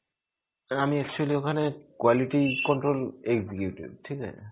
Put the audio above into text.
আমি actually ওখানে quality control executive. ঠিকআছে.